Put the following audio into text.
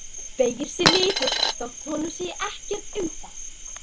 Beygir sig niður þótt honum sé ekkert um það.